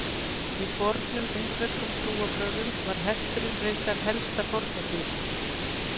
í fornum indverskum trúarbrögðum var hesturinn reyndar helsta fórnardýrið